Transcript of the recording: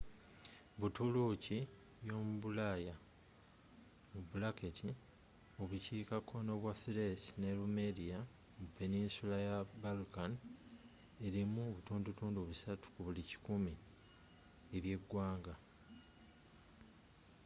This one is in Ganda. buturuuki yomubulaayaobukiika kkono bwa thrace ne rumelia mu peninsula ya balkan erimu 3% ebyeggwanga